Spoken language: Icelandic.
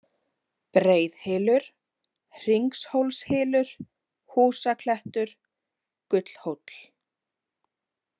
Breiðhylur, Hringshólshylur, Húsaklettur, Gullhóll